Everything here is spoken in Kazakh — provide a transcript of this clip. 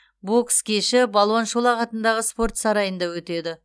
бокс кеші балуан шолақ атындағы спорт сарайында өтеді